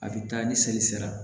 A bɛ taa ni seli sera